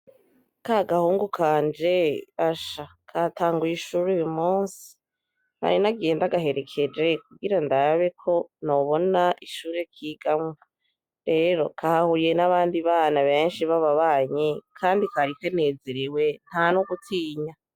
Kagahungu kanje asha katanguye ishure Uyu munsi nari nagiye ndagaherekeje kugira ndabe ko nobona ishure kigamwo rero kahuye n'abandi bana benshi bababanyi kandi kari kanezerewe ntano gutinya .